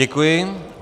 Děkuji.